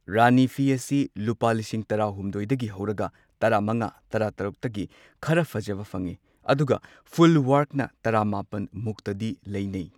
ꯔꯥꯅꯤ ꯐꯤ ꯑꯁꯤ ꯂꯨꯄꯥ ꯂꯤꯁꯤꯡ ꯇꯔꯥꯇꯔꯨꯛꯇꯒꯤ ꯍꯧꯔꯒ ꯇꯔꯥꯃꯉꯥ ꯇꯔꯥꯇꯔꯨꯛꯇꯗꯤ ꯈꯔ ꯐꯖꯕ ꯐꯪꯉꯤ꯫ ꯑꯗꯨꯒ ꯐꯨꯜ ꯋꯥꯔꯛꯅ ꯇꯔꯥꯃꯥꯄꯟꯃꯨꯛꯇꯗꯤ ꯂꯩꯅꯩ꯫